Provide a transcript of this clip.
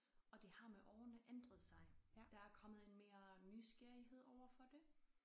Og det har med årene ændret sig. Der er kommet en mere nysgerrighed overfor det